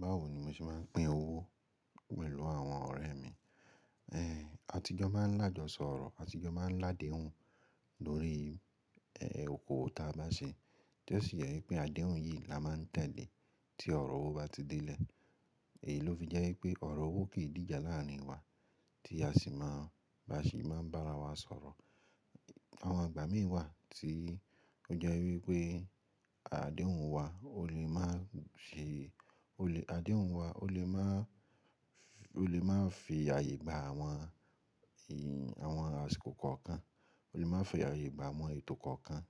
Báwo ni mo ṣe máa ń pín owó pẹ̀lú àwọn ọ̀rẹ́ mi? Eh, àtijọ́ máa ń làjọṣọ ọ̀rọ̀, àtijọ́ máa ń ládéhùn lórí, eh, oko owo ta bá sè. Tí ó sì jẹ́ wípé adéhùn yìí la máa ń tẹ̀lé tí ọ̀rọ̀ owó bá ti dé lè. Èyí ló fi jẹ́ wípé ọ̀rọ̀ owó kì í dìjà lárin wa tí a sì máa ba ṣì máa ń bá ara wa sọ̀rọ̀. Àwọn ìgbà mìíràn wà tí ó jẹ́ wípé adéhùn wa ó lè máa ṣe, ó lè adéhùn wa ó lè máa, ó lè máa fi àyè gba àwọn, ì, àwọn àsìkò kọ̀ọ̀kan. Ó lè máa fi àyè gba àwọn ètò kọ̀ọ̀kan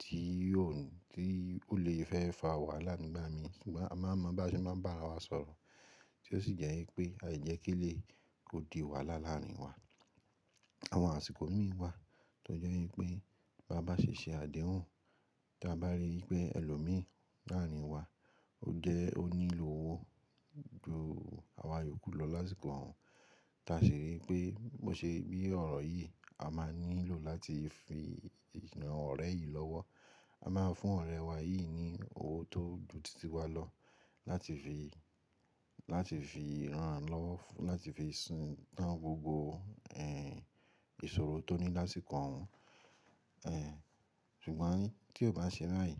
tí yóò, tí ó lè fẹ́ fa wàhálà nígbà mìíràn. Sugbon a máa mọ̀ bá ṣe máa ń bá ara wa sọ̀rọ̀ tí ó sì jẹ́ wípé àìjẹ kí eleyi kó di wàhálà láàárín wa. Àwọn àsìkò mìíràn wà tó jẹ́ wípé bá bá ṣe ṣe adéhùn tí a bá rí pé ẹlòmíràn láàárín wa ó jẹ́ ó nílò owó ju àwa yòókù lọ lásìkò òun. Tí a sì rí pé mo ṣe bí ọ̀rọ̀ yìí, a máa nílò láti fi ran ọ̀rẹ́ yìí lọ́wọ́. A máa fún ọ̀rẹ́ wá yìí ní owó tó ju títí wá lọ láti fi, láti fi rán an lọ́wọ́, láti fi san tán gbogbo, eh, ìṣòro tó ní lásìkò òun. Eh, ṣùgbọ́n tí ó bá ṣe báyìí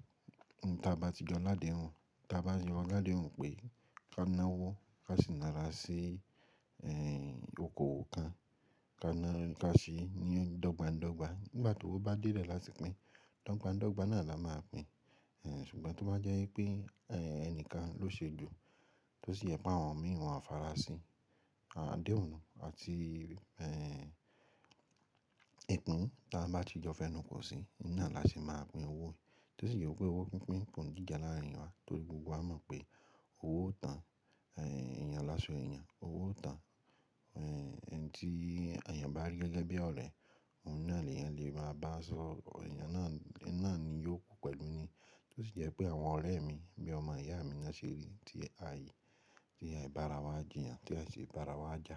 tí a bá tí jọ ládéhùn, tí a bá ṣe lọ ládéhùn pé ká ná owó, ká sì na ra sí, eh, okowo kan, ká ná, ká sì ní dọ́gba dọ́gba. Nígbà tí owó bá dé lè látì pin, dogba dọ́gba náà la máa pín. Eh, ṣùgbọ́n tó bá jẹ́ wípé, eh, ẹnìkan ló ṣe ju, tó sì jẹ pé àwọn mìí won o fara sí adéhùn àti, eh, ìpín tí a bá tí jọ fẹ́nu ko sí, náà la ṣe máa pín owó Tí ó sì jẹ pé owó pínpín ko n díjà lárin wa torí gbogbo wa mọ̀ pé owó o tán, eh, èèyàn láso èèyàn, owó o tán, eh, eni tí èèyàn bá rí gẹ́gẹ́ bí ọ̀rẹ́, òun náà ni èèyàn lè máa bá sọ̀rọ̀, èèyàn náà, ní náà ni yóò kú pẹ̀lú ni. Tí ó sì jẹ́ pé àwọn ọ̀rẹ́ mi bí ọmọ ìyá mi ni won ṣe rí tí a i, tí a i bá ara wa jìyàn, tí a i ṣi bá ara wa jà.